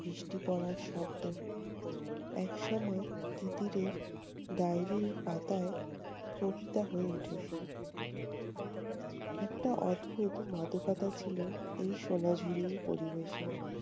বৃষ্টি পড়ার শব্দ এক সময় তিতিরের ডাইরির পাতায় কবিতা হয়ে উঠেছে। একটা অদ্ভুত মাদকতা ছিল এই সোনা ঝুড়ির পরিবেশে।